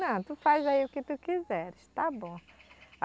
Tu faz aí o que tu quiser, está bom.